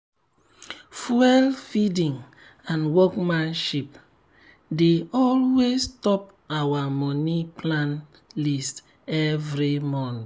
fuel feeding and workmanship dey always top our moni plan list every month.